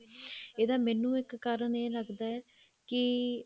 ਇਹਦਾ ਮੈਨੂੰ ਇੱਕ ਕਾਰਨ ਇਹ ਲੱਗਦਾ ਕੀ